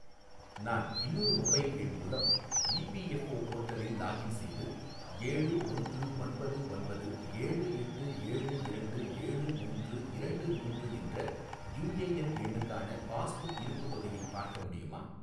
நான் இன்னொரு மொபைல் எண் மூலம் இபிஎஃப்ஓ போர்ட்டலில் லாகின் செய்து ஏழு ஒன்று ஒன்பது ஒன்பது ஏழு எட்டு ஏழு இரண்டு ஏழு மூன்று இரண்டு மூன்று என்ற யுஏஎன் எண்ணுக்கான பாஸ்புக் இருப்புத் தொகையை பார்க்க முடியுமா?